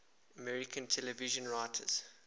american television writers